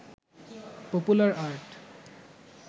popular art